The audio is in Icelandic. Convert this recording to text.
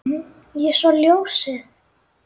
Ég sá ljósið